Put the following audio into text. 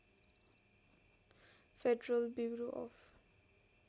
federal bureau of